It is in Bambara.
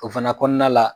O fana kɔnɔna la